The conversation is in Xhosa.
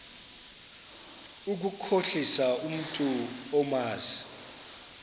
ukukhohlisa umntu omazi